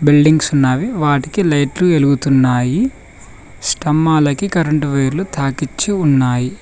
Buildings ఉన్నావి వాటికి లైట్లు ఎలుగుతున్నాయి స్తంభాలకి కరెంటు వెర్లు తాకిచ్చి ఉన్నాయి.